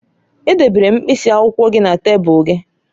Edebere m mkpịsị akwụkwọ gị na tebụl gị